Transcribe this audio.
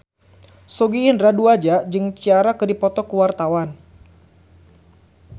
Sogi Indra Duaja jeung Ciara keur dipoto ku wartawan